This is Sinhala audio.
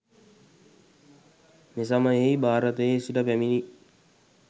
මෙසමයෙහි භාරතයේ සිට පැමිණි